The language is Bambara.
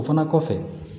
O fana kɔfɛ